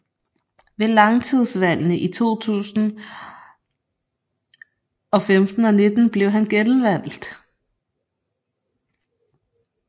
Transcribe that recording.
Ved lagtingsvalgene i 2015 og 2019 blev han genvalgt